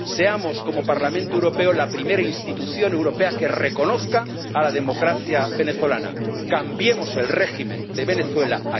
seamos como Parlamento Europeo la primera institución europea que reconozca a la democracia venezolana.